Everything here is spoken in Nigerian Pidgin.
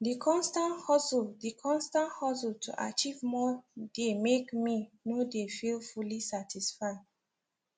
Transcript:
the constant hustle the constant hustle to achieve more dey make me no dey feel fully satisfied